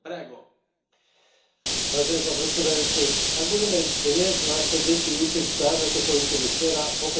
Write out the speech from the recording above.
Vážený pán predsedajúci, ak budeme dnes naše deti učiť tak, ako sa učili včera, okrádame ich o budúcnosť.